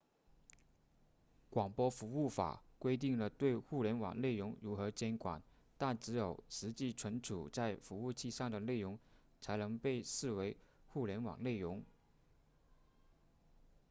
广播服务法规定了对互联网内容如何监管但只有实际储存在服务器上的内容才能被视为互联网内容